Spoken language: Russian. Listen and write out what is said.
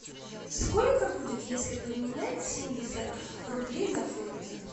сколько будет если поменять семьдесят рублей на фунты